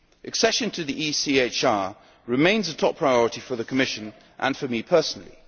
Accession to the ECHR remains a top priority for the Commission and for me personally.